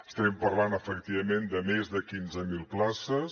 estem parlant efectivament de més de quinze mil places